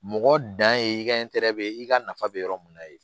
Mɔgɔ dan ye i ka i ka nafa bɛ yɔrɔ min na yen